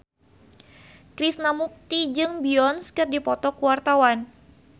Krishna Mukti jeung Beyonce keur dipoto ku wartawan